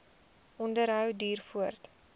onderhou duur voort